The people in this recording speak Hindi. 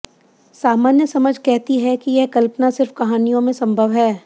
सामान्य समझ कहती है कि यह कल्पना सिर्फ कहानियों में संभव है